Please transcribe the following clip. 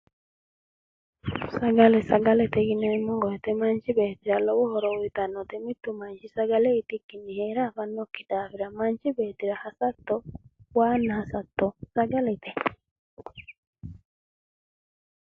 sagale sagale yineemmo wote mittu manchira lowo horo uyiitnnote mittu manchi sagale itikkinni heere afannokki daafira manchi beettira waanna hasatto sagalete.